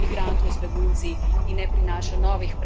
Globalne izzive lahko rešujemo le skupaj.